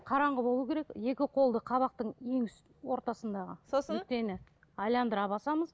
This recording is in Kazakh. қараңғы болу керек екі қолды қабақтың ең ортасындағы нүктені айналдыра басамыз